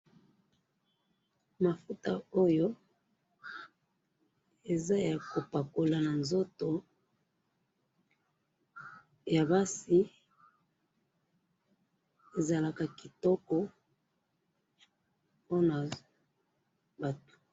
Mafuta oyo eza ya ko pakola na nzoto ya basi ezalaka kitoko po na batu